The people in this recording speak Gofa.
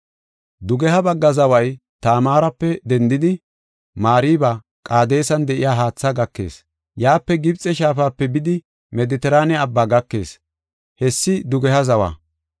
“Dugeha bagga zaway Tamaarape dendidi, Mariba Qaadesan de7iya haatha gakees. Yaape Gibxe shaafape bidi Medetiraane Abbaa gakees. Hessi dugeha zawa.